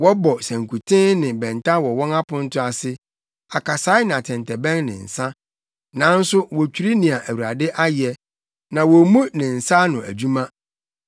Wɔbɔ sankuten ne bɛnta wɔ wɔn aponto ase, akasae, ne atɛntɛbɛn ne nsa, nanso wotwiri nea Awurade ayɛ, na wommu ne nsa ano adwuma.